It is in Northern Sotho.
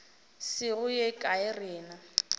se go ye kae rena